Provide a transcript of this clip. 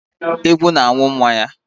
Ewu na-amụ nwa ya.